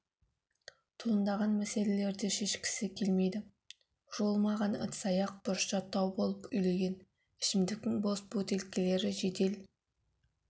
туындаған мәселелерді шешкісі келмейді жуылмаған ыдыс-аяқ бұрышта тау боп үйілген ішімдіктің бос бөтелкелері жедел